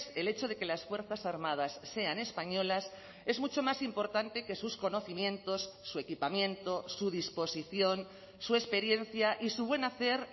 el hecho de que las fuerzas armadas sean españolas es mucho más importante que sus conocimientos su equipamiento su disposición su experiencia y su buen hacer